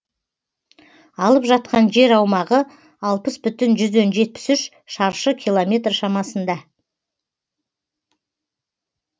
алып жатқан жер аумағы алпыс бүтін жүзден жетпіс үш шаршы километр шамасында